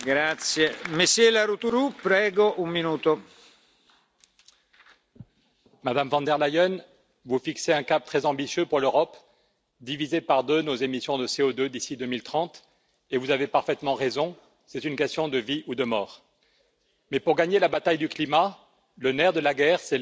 Monsieur le Président, Madame von der Leyen, vous fixez un cap très ambitieux pour l'Europe diviser par deux nos émissions de CO2 d'ici 2030, et vous avez parfaitement raison, c'est une question de vie ou de mort. Mais pour gagner la bataille du climat, le nerf de la guerre, c'est l'argent.